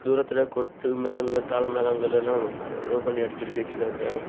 தூரத்துல கொட்டு மேளங்கள் தாள மேளங்கள் எல்லாம் ரோ பண்ணி அடுக்கி அடுக்கி வச்சிருக்காங்க.